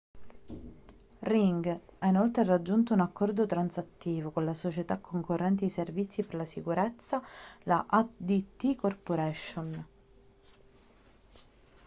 ring ha inoltre raggiunto un accordo transattivo con la società concorrente di servizi di sicurezza la adt corporation